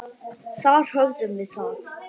Þar höfðum við það.